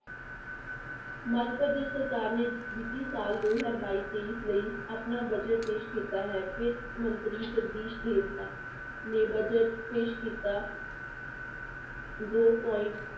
ਮੱਧ ਪ੍ਰਦੇਸ ਦੀ ਸਰਕਾਰ ਨੇ ਵਿੱਤੀ ਸਾਲ ਦੋ ਹਜ਼ਾਰ ਬਾਈ ਤੇਈ ਲਈ ਆਪਣਾ budget ਪੇਸ਼ ਕੀਤਾ ਹੈ, ਵਿੱਤ ਮੰਤਰੀ ਜਗਦੀਸ ਨੇ budget ਪੇਸ਼ ਕੀਤਾ ਦੋ point